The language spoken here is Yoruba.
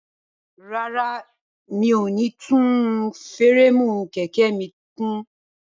Rárá, mi ò ní tún fúréèmù kẹ̀kẹ́ mi kùn.